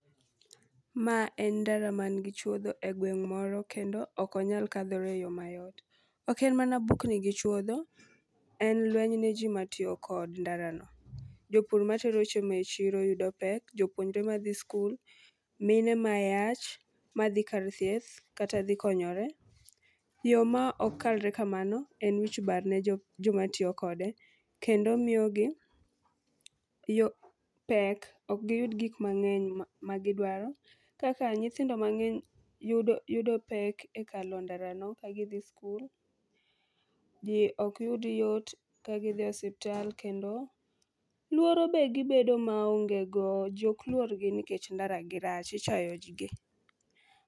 Mae en ndara an gi chuodho e gweng' moro kendo ok onyal kandhore e yo mayot. Ok en mana bukni gi chuodho, en lweny neji matiyo kod ndarano. Jopur matero chiemo e chiro yudo pek jopuonjre madhi skul, mine mayach madhi kar thieth kata madhi konyore. Yo ma pk kalre kamano en wich bar ne joma tiyo kode, kendo miyogi yo pek ok giyud gik mang'eny magidwaro, kaka nyithindo mang'eny yudo yudo pek e kalo ndarano ka gidhi skul, ji ok yud yot ka gidhi osiptal kendo luoro be gibedo maongego, ji ok luorgi nikech ndaragi rach. Ichayo ji gi.